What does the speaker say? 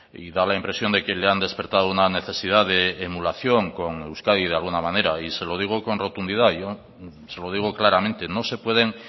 y da la impresión de que le han despertado una necesidad de emulación con euskadi de alguna manera y se lo digo con rotundidad yo se lo digo claramente no se pueden